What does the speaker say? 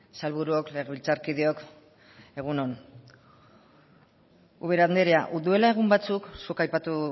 sailburuok legebiltzarkideok egun on ubera anderea duela egun batzuk zuk aipatu